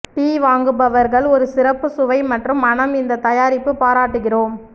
D வாங்குபவர்கள் ஒரு சிறப்பு சுவை மற்றும் மணம் இந்த தயாரிப்பு பாராட்டுகிறோம்